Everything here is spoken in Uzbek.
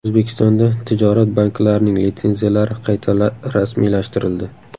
O‘zbekistonda tijorat banklarining litsenziyalari qayta rasmiylashtirildi.